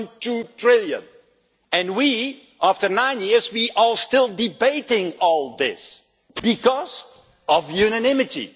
1.2 trillion, and we, after nine years, are still debating all this because of unanimity.